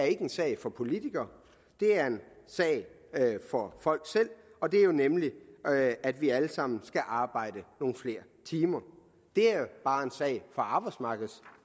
ikke en sag for politikere det er en sag for folk selv og det er nemlig at vi alle sammen skal arbejde nogle flere timer det er bare en sag for arbejdsmarkedets